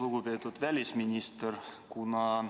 Lugupeetud välisminister!